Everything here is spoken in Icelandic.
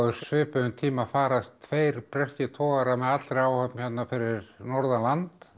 svipuðum tíma farast tveir breskir togarar með allri áhöfn hérna fyrir norðan land